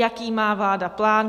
Jaký má vláda plán?